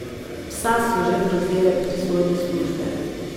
Psa so že prevzele pristojne službe.